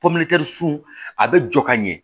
sun a bɛ jɔ ka ɲɛ